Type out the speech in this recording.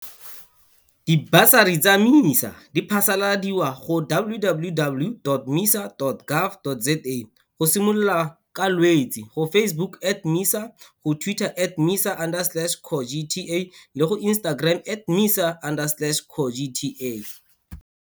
Dibasari tsa MISA di phasaladiwa go www.misa.gov.za go simolola ka Lwetse, go Facebook at MISA, go Twitter at MISA underslash CoGTA le go Instagram at MISA underslash CoGTA.